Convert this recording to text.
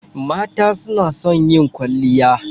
Mata su na son yin kwalliya.